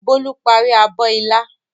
Bólú parí abọ́ ilá.